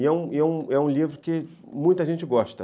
E é um e é um livro que muita gente gosta.